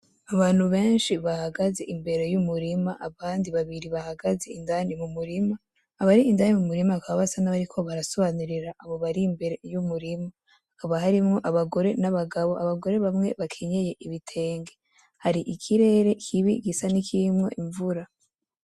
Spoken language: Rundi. Abantu benshi bahagaze imbere y’umurima n’abandi babiri bahagaze indani mumurima abari indani mumurima bakaba basa nkabariko barasobanurira abo bari imibere y’umurima hakaba harimwo abagore N’abagabo abagore bamwe bambaye ibitenge hari ikirere kibi gisa nikirimwo imvura.